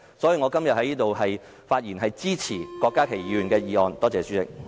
所以，我今天在此的發言是支持郭家麒議員的議案。